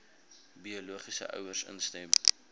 biologiese ouers instem